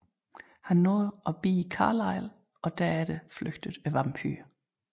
Han nåede at bide Carlisle og derefter flygtede vampyren